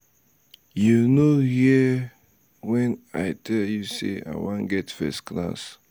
you no um hear um wen i um tel you sey i wan get first class?